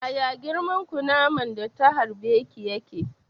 Yaya girman kunaman da ta harbe ki yake?